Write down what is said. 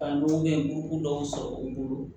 A dɔw bɛ yen u dɔw sɔrɔ u bolo